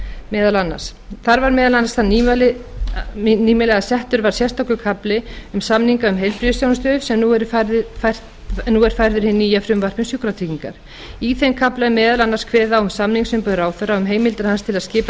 meðal annars þar var meðal annars það nýmæli að settur var sérstakur kafli um samninga um heilbrigðisþjónustu sem nú er færður í hið nýja frumvarp um sjúkratrygginga í þeim kafla er meðal annars kveðið á um samningsumboð ráðherra um heimildir hans til að skipa